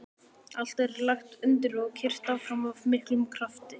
Allt er lagt undir og keyrt áfram af miklum krafti.